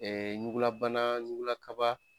ɲugulabana ɲugulakaba